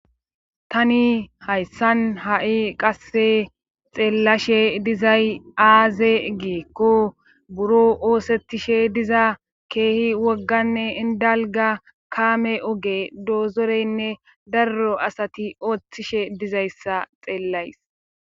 tani hayssan ha7i qasse xeellashe dizay aaze geekko buro oosettishe diza keehi wogganne indalga kaame oge doozoreynne darro asati ooththishe dizayssa xeellays